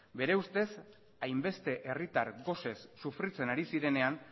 bere ustez hainbeste herritar gosez sufritzen ari zirenean